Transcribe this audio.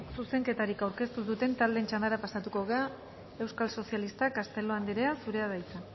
zuzenketarik aurkeztu ez duten taldeen txandara pasatuko gara euskal sozialistak castelo anderea zurea da hitza